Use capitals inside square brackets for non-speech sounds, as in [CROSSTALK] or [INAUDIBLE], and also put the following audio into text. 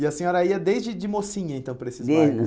E a senhora ia desde de mocinha, então, para esses bailes [UNINTELLIGIBLE]